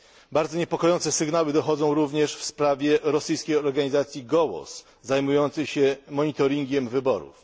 Bardzo niepokojące sygnały dochodzą również w sprawie rosyjskiej organizacji Gołos zajmującej się monitoringiem wyborów.